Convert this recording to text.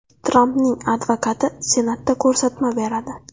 Trampning advokati Senatda ko‘rsatma beradi.